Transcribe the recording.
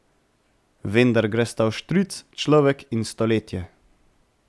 Vendar gresta vštric, človek in stoletje.